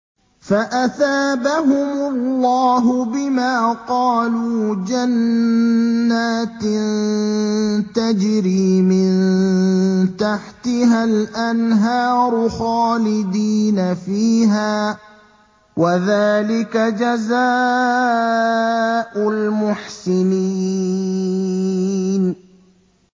فَأَثَابَهُمُ اللَّهُ بِمَا قَالُوا جَنَّاتٍ تَجْرِي مِن تَحْتِهَا الْأَنْهَارُ خَالِدِينَ فِيهَا ۚ وَذَٰلِكَ جَزَاءُ الْمُحْسِنِينَ